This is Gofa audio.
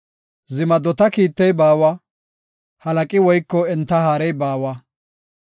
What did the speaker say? Zimaddota kiittey baawa, halaqi woyko enta haarey baawa.